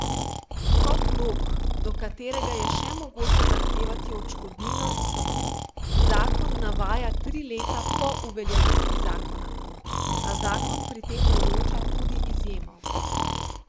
Kot rok, do katerega je še mogoče zahtevati odškodnino, zakon navaja tri leta po uveljavitvi zakona, a zakon pri tem določa tudi izjemo.